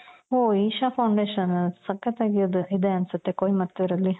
ಓ isha foundation ಸಕ್ಕತ್ ಇದೆ ಅನ್ಸುತ್ತೆ ಕೊಯಿಮತ್ತುರ್ ಅಲ್ಲಿ .